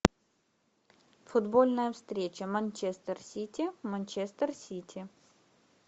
футбольная встреча манчестер сити манчестер сити